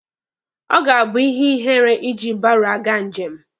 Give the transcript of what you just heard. Ọ ga-abụ ihe ihere iji baro aga njem.